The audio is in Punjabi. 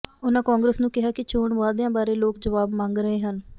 ਉਨ੍ਹਾਂ ਕਾਂਗਰਸ ਨੂੰ ਕਿਹਾ ਕਿ ਚੋਣ ਵਾਅਦਿਆਂ ਬਾਰੇ ਲੋਕ ਜਵਾਬ ਮੰਗ ਰਹੇ ਹਨ